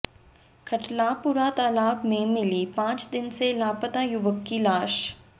खटलापुरा तालाब में मिली पांच दिन से लापता युवक की लाश